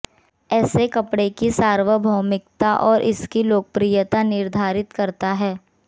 ऐसे कपड़े की सार्वभौमिकता और इसकी लोकप्रियता निर्धारित करता है